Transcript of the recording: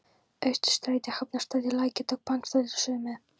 Austurstræti, Hafnarstræti, Lækjartorg, Bankastræti og suðurmeð